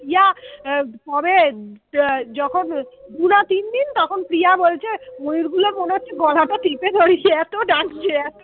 যখন পুরা তিন দিন তখন প্রিয়া বলছে ময়ূর গুলোর মনে হচ্ছে গলাটা টিপে ধরি এত ডাকছে